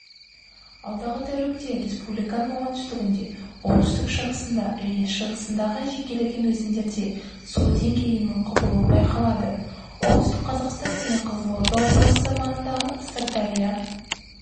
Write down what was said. алдағы тәулікте республиканың оңтүстігінде оңтүстік-шығысында және шығысындағы жекелеген өзендерде су деңгейінің құбылуы байқалады оңтүстік қазақстан және қызылорда облысы маңындағы сырдария